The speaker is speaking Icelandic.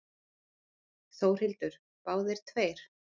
Þórhildur: Báðir tveir?